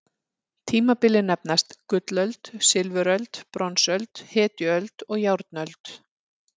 Tímabilin nefnast: gullöld, silfuröld, bronsöld, hetjuöld og járnöld.